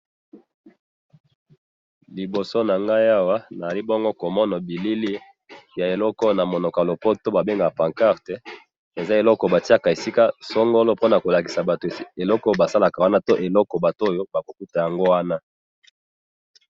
liboso nangayi awa nazali bongo komona bilili ya eloko oyo ba bengaka na munoko ya lopoto pancarte eza eloko batiyaka esika songolo pona kolakisa batu eloko esika basalaka wana to enoko batu bakokuta wana.